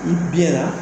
I bi na